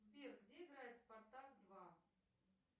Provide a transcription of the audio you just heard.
сбер где играет спартак два